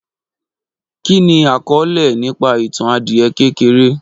Kí ni àkọọlẹ nípa ìtàn adìẹ kékeré